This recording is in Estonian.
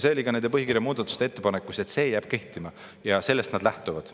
See oli ka nende põhikirja muudatuste ettepanekus, et see jääb kehtima ja sellest nad lähtuvad.